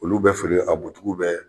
Olu bɛ feere a bɛ